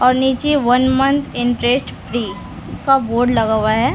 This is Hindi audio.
और नीचे वन मन्थ इन्टरेस्ट फ्री का बोर्ड लगा हुआ है।